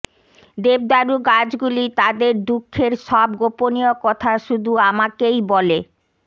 দেবদারু গাছগুলি তদোর দুঃখের সব গোপনীয় কথা শুধু আমাকেই বলে